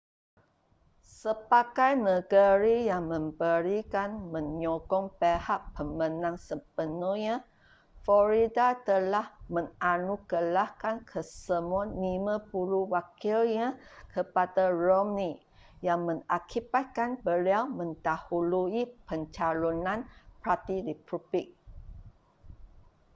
sebagai negeri yang memberikan menyokong pihak pemenang sepenuhnya florida telah menganugerahkan kesemua lima puluh wakilnya kepada romney yang mengakibatkan beliau mendahului pencalonan parti republik